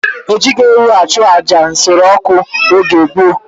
Ejighị ewu achụ àjà nsure ọkụ n'oge gboo.